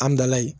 An bilala yen